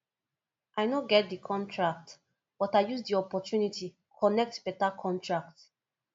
i no get di contract but i use di opportunity connect beta contract